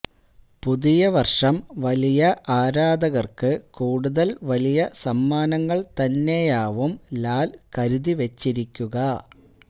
പുതിയ വര്ഷം വലിയ ആരാധകര്ക്ക് കൂടുതല് വലിയ സമ്മാനങ്ങള് തന്നെയാവും ലാല് കരുതിവച്ചിരിക്കുക